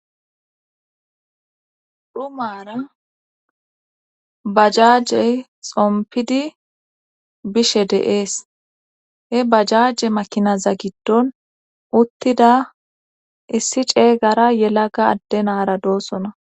dhumaara bajaajey xompidi bishe de7ees he bajaje makinaza giddon uttida issi ceeygara yelaga addenara doossona